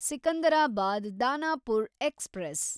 Secunderabad Danapur express